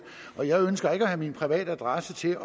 og jeg ønsker ikke at have min private adresse til